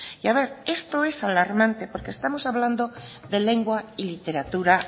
y a ver esto es alarmante porque estamos hablando de lengua y literatura